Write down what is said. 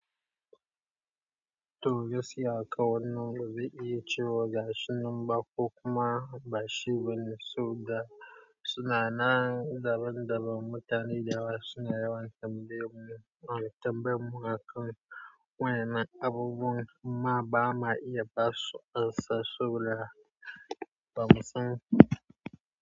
Toh gaskiya kawai na zai iya cewa gashi namba ko kuma bashi bane, saboda suna nan daban-daban mutane da wasu na yawan tambayar mun, an tambayar mun a kan waye na abubuwan ma bama iya basu amsa, saboda bamu san.